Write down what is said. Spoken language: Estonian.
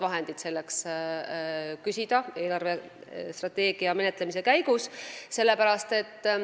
Vahendeid selleks tuleks küsida eelarvestrateegia menetlemise käigus.